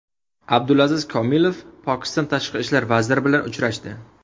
Abdulaziz Komilov Pokiston tashqi ishlar vaziri bilan uchrashdi.